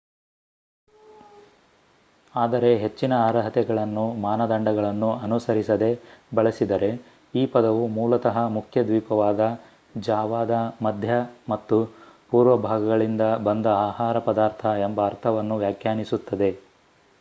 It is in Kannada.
ಆದರೆ ಹೆಚ್ಚಿನ ಅರ್ಹತೆಗಳನ್ನು ಮಾನದಂಡಗಳನ್ನು ಅನುಸರಿಸದೇ ಬಳಸಿದರೆ ಈ ಪದವು ಮೂಲತಃ ಮುಖ್ಯ ದ್ವೀಪವಾದ ಜಾವಾದ ಮಧ್ಯ ಮತ್ತು ಪೂರ್ವ ಭಾಗಗಳಿಂದ ಬಂದ ಆಹಾರ ಪದಾರ್ಥ ಎಂಬ ಅರ್ಥವನ್ನು ವ್ಯಾಖ್ಯಾನಿಸುತ್ತದೆ